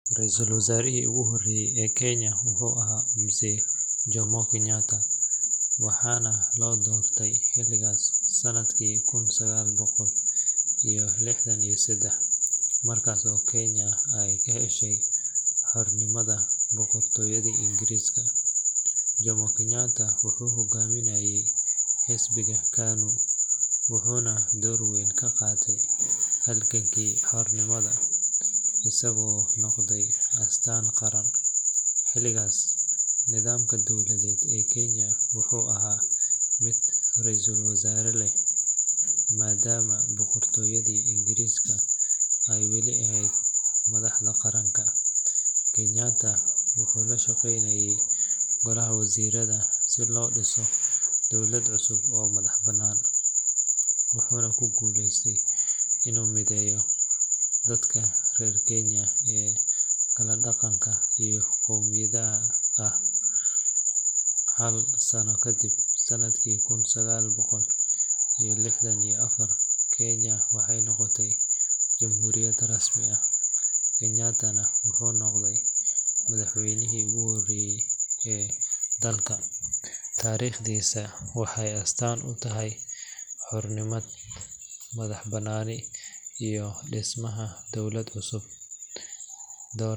Raiisul wasaarihii ugu horreeyay ee Kenya wuxuu ahaa Mzee Jomo Kenyatta, waxaana loo doortay xilkaas sannadkii kun sagaal boqol iyo lixdan iyo saddex, markaas oo Kenya ay ka heshay xornimada boqortooyadii Ingiriiska. Jomo Kenyatta wuxuu hoggaaminayay xisbiga KANU wuxuuna door weyn ka qaatay halgankii xornimada, isagoo noqday astaan qaran. Xilligaas, nidaamka dowladeed ee Kenya wuxuu ahaa mid ra’iisul wasaare leh, maadaama boqoradda Ingiriiska ay weli ahayd madaxda qaranka. Kenyatta wuxuu la shaqeynayay golaha wasiirada si loo dhiso dowlad cusub oo madax bannaan, wuxuuna ku guuleystay inuu mideeyo dadka reer Kenya ee kala dhaqanka iyo qowmiyadda ah. Hal sano kadib, sannadkii kun sagaal boqol iyo lixdan iyo afar, Kenya waxay noqotay jamhuuriyad rasmi ah, Kenyatta-na wuxuu noqday madaxweynihii ugu horreeyay ee dalka. Taariikhdiisa waxay astaan u tahay xorriyad, madax bannaani, iyo dhismaha dowlad cusub.